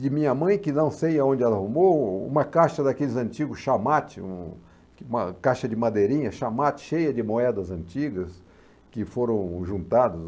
de minha mãe que não sei aonde ela arrumou, uma caixa daqueles antigos chamate, um uma caixa de madeirinha chamate cheia de moedas antigas que foram juntadas.